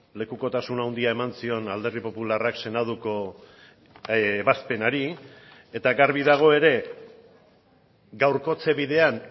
lekukotasun handia eman zion alderdi popularrak senatuko ebazpenari eta garbi dago ere gaurkotze bidean